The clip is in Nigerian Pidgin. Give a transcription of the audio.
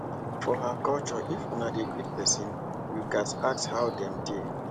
for her cultureif una dey greet pesin you gats ask how dem dey